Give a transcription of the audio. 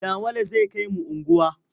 Yawale zai kai mu unguwa.